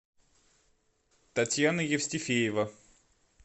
татьяна евстифеева